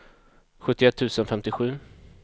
sjuttioett tusen femtiosju